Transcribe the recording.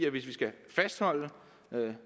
hvis vi skal fastholde